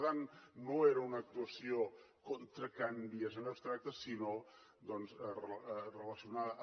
per tant no era una actuació contra can vies en abstracte sinó doncs relacionada amb